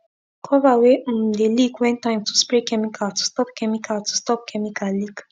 cover wey um de leak when time to spray chemical to stop chemical to stop chemical leak